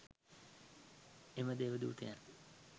එම දේව දූතයන්